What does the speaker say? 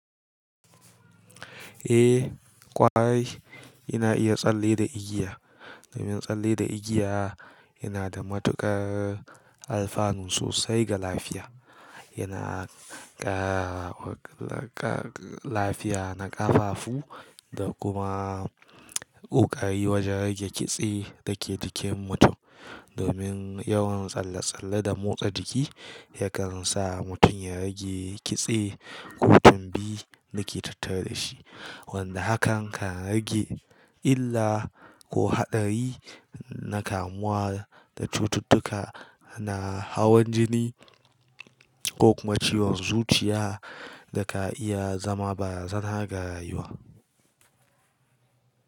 Eh ƙwarai ina iya tsalle da igiya. Domin tsalle da igiya yana da matuƙar alfanu sosai ga lafiya. Yana ƙara lafiya na ƙafafu da kuma ƙoƙari wajen rage kitse da ke jikin mutum. Domin yawan tsalle-tsalle da motsa jiki yakan sa mutum ya rage kitse ko tunbi da ke tattare da shi. Wanda hakan kan rage illa ko haɗari na kamuwa da cututtuka na hawan jini ko kuma ciwon zuciya da ka iya zama barazanar ga rayuwa.